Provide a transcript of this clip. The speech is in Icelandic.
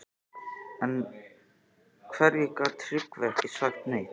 En af hverju gat Tryggvi ekki sagt neitt?